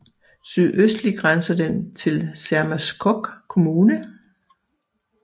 Sydøstlig grænser den til Sermersooq Kommune